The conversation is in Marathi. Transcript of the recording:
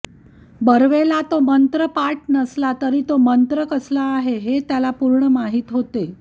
बर्वेला तो मंत्र पाठ नसला तरी तो मंत्र कसला आहे हे त्याला पूर्ण माहीत होते